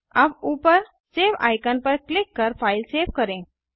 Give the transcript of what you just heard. अब ऊपर save icon पर क्लिक कर फ़ाइल सेव करें